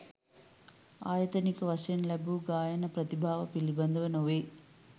ආයතනික වශයෙන් ලැබූ ගායන ප්‍රතිභාව පිළිබඳ නොවේ.